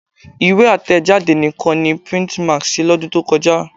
Ìwé àtẹ̀jádé nìkan ni Printmax ṣe lọ́dún tó kọjá